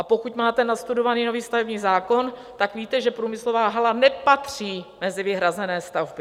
A pokud máte nastudovaný nový stavební zákon, tak víte, že průmyslová hala nepatří mezi vyhrazené stavby.